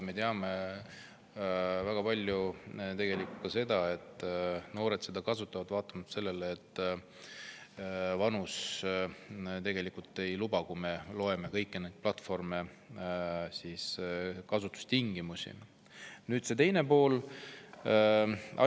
Me teame seda, et paljud noored kasutavad, vaatamata sellele, et nende vanus kõigi nende platvormide kasutustingimuste järgi seda tegelikult ei luba.